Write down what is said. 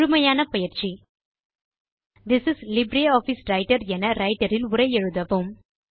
முழுமையான பயிற்சி this is LibreOffice Writer என ரைட்டர் இல் உரை எழுதவும்